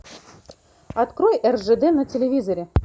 открой ржд на телевизоре